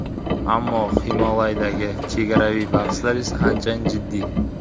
Ammo Himolaydagi chegaraviy bahslar esa anchayin jiddiy.